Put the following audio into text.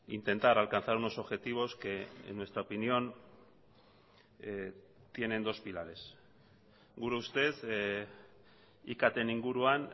intentar alcanzar unos objetivos que en nuestra opinión tienen dos pilares gure ustez iktn inguruan